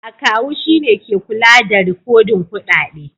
Akawu shine ke kula da rikodin kuɗaɗe.